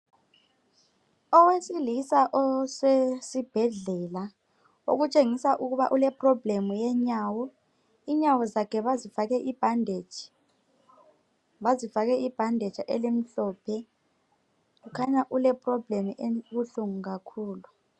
Owesilisa osesibhedlela okutshengisa ukuba ule problem yenyawo .Inyawo zakhe bazifake I bandage .Bazifake I bandage elimhlophe. Kukhanya ule problem ebuhlungu kakhulu